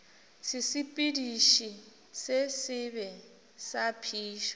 sesepediši se sebe sa phišo